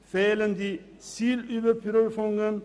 ADT fehlen die Zielüberprüfungen.